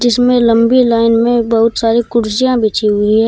इसमें लंबी लाइन में बहुत सारी कुर्सियां बिछी हुई है।